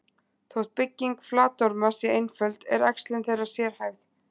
Þótt bygging flatorma sé einföld, er æxlun þeirra sérhæfð.